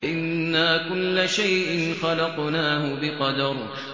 إِنَّا كُلَّ شَيْءٍ خَلَقْنَاهُ بِقَدَرٍ